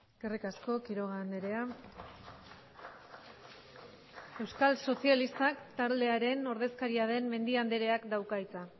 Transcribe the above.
eskerrik asko quiroga andrea euskal sozialistak taldearen ordezkaria den mendia andreak dauka hitza